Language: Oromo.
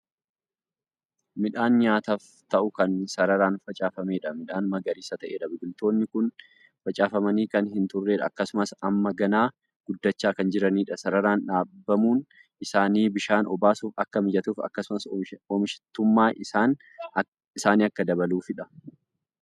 Midhaan nyaataaf ta'u Kan sararaan facaafameedha. Midhaan magariisa ta'eedha. biqiltoonni Kuni facaafamanii Kan hin turredha, akkasumas Amma ganaa guddachaa Kan jiraniidha. sararaan dhaabbamuun isaanii bishaan obaasuuf Akka mijatuuf akkasumas oomishatummaa isaan Akka dabaluufidha